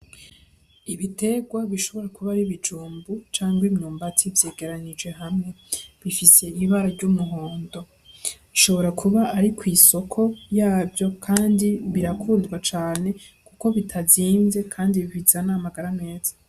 Ibitegwa bishobora kuba ari ibijumbu canke imyumbati vyegeranije hamwe bifise ibara ry'umuhondo bishobora kuba ari kw' isoko yavyo kandi birakundwa cane kuko bitazimvye kandi bizana amagara meza.